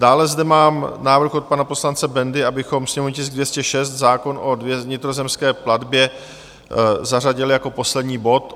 Dále zde mám návrh od pana poslance Bendy, abychom sněmovní tisk 206, zákon o vnitrozemské plavbě, zařadili jako poslední bod.